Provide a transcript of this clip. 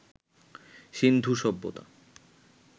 সিন্ধু সভ্যতা